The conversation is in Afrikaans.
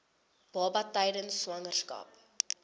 baba tydens swangerskap